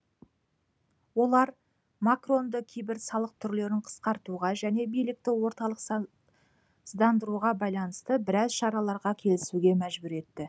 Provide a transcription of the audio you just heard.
олар макронды кейбір салық түрлерін қысқартуға және билікті орталықсыздандыруға байланысты біраз шараларға келісуге мәжбүр етті